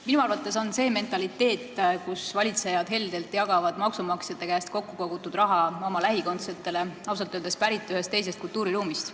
Minu arvates on see mentaliteet, mille järgi jagavad valitsejad heldelt maksumaksjate käest kokku kogutud raha oma lähikondsetele, ausalt öeldes pärit ühest teisest kultuuriruumist.